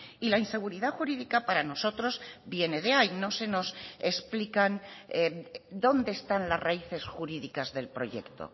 y la inseguridad jurídica para nosotros viene de ahí no se nos explican dónde están las raíces jurídicas del proyecto